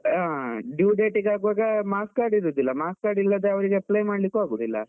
ಹಾ due date ಗೆ ಆಗುವಾಗ marks card ಇರುದಿಲ್ಲ, marks card ಇಲ್ಲದೆ ಅವ್ರಿಗೆ apply ಮಾಡ್ಲಿಕ್ಕು ಆಗುದಿಲ್ಲ.